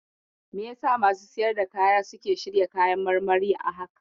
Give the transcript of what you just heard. Me yasa masu siyar da kaya suke shirya kayan marmarin a haka?